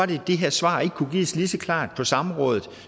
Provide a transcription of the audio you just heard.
det her svar ikke gives lige så klart på samrådet